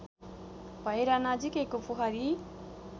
भएर नजिकैको पोखरी